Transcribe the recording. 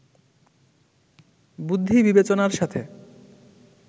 বুদ্ধি-বিবেচনার সাথে